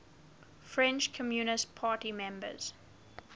french communist party members